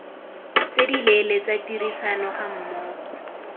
tse dileele tsa tirisano gammogo